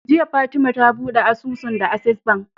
Jiya fatema ta buɗe asusu da access bank